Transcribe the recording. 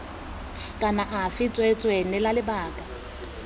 kana afe tsweetswee neela lebaka